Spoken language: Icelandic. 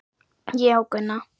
Já, Gunna.